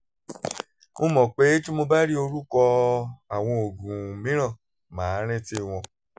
mo mọ̀ pé tí mo bá rí orúkọ àwọn oògùn mìíràn màá rántí wọn